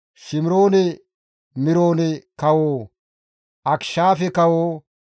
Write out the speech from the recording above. Shimiroone-Miroone kawo, Akishaafe kawo,